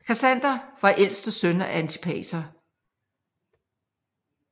Kassander var ældste søn af Antipater